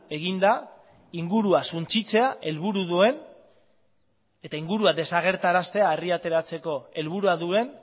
egin da ingurua suntsitzea helburua duen eta harria ateratzeko helburua duten